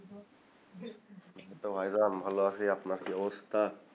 এই তো ভাইজান ভালো আছি আপনার কি অবস্থা?